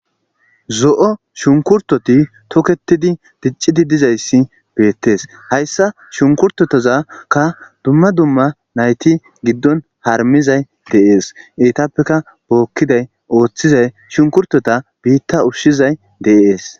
zo7o shunkurtoti toketidi diccidi dizayssi beettees hayssa shunkurtotozakka dumma dumma nayti giddon harmizay deees etapeka bookkiday ooththizay shunkurtota biitta ushshizay deees